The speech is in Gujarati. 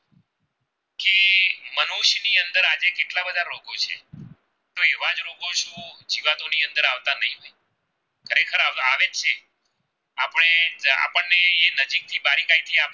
આવે છે આપણે આપણને એ નજીક ની